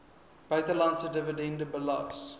buitelandse dividende belas